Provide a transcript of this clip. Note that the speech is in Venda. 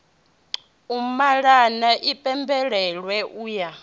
u malana i pembelelwe uya